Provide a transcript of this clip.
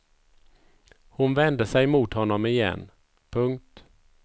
Hon vände sej mot honom igen. punkt